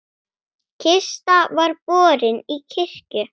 Kista var borin í kirkju.